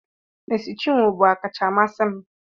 Mercy chinwo bụ ọkacha amasị m